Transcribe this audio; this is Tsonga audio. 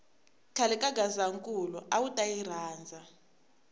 khale ka gazankulu awuta yi rhandza